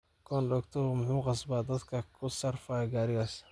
Kondoktaha muxu kasba dhadhka kusarfayo garigisa.